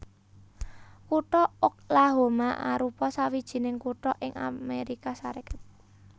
Kutha Oklahoma arupa sawijining kutha ing Amérika Sarékat